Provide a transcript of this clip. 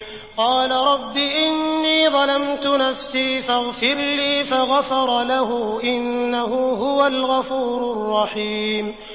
قَالَ رَبِّ إِنِّي ظَلَمْتُ نَفْسِي فَاغْفِرْ لِي فَغَفَرَ لَهُ ۚ إِنَّهُ هُوَ الْغَفُورُ الرَّحِيمُ